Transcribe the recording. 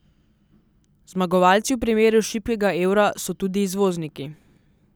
Zmagovalci v primeru šibkega evra so tudi izvozniki.